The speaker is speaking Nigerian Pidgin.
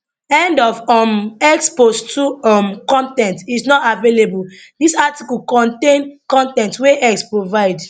end of um x post 2 um con ten t is not available dis article contain con ten t wey x provide